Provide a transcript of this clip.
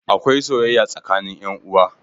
Akwai soyayya tsakanin yan uwa.